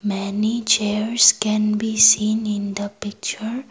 many chairs can we seen in the picture.